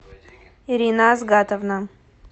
ирина азгатовна